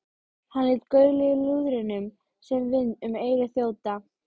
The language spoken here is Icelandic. Hann lét gaulið í lúðrinum sem vind um eyru þjóta.